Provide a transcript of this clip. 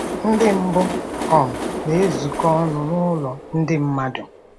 Ndị mbụ um na-ezukọ ọnụ n'ụlọ ndị mmadụ